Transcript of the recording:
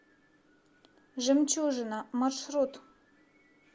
жемчужина маршрут